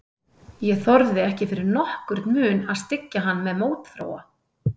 Ég þorði ekki fyrir nokkurn mun að styggja hann með mótþróa.